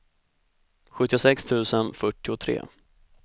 sjuttiosex tusen fyrtiotre